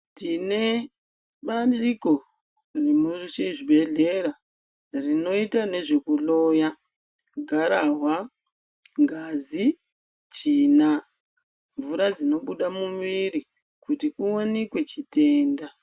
Tine bandiko riromwo muchibhedhlera rinoita nezvekuhloya gararwa, ngazi, tsvina mvura dzinobuda mumwiri. Kuti chivanike chitenda.